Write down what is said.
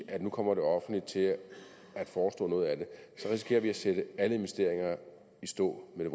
at nu kommer det offentlige til at forestå noget af det så risikerer vi at sætte alle investeringer i stå med